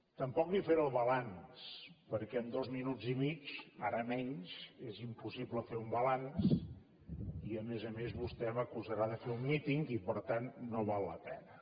tampoc li faré el balanç perquè en els dos minuts i mig ara menys és impossible fer un balanç i a més a més vostè m’acusarà de fer un míting i per tant no val la pena